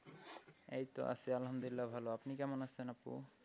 এইতো আছি আলহামদুলিল্লাহ ভালো। আপনি কেমন আছেন আপু?